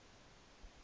vigs leef